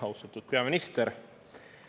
Austatud peaminister!